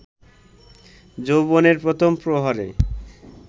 যৌবনের প্রথম প্রহরে